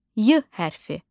Y hərfi.